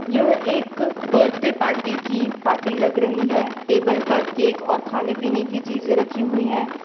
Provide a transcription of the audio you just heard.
यह एक birthday party की पार्टी लग रही है टेबल पर केक और खाने पीने की चीजें रखी हुई हैं।